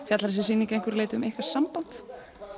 fjallar þessi sýning að einhverju leyti um ykkar samband